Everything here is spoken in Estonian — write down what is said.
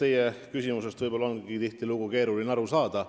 Eks teie küsimustest ongi tihtilugu keeruline aru saada.